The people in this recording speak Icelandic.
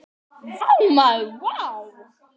Vá maður vá!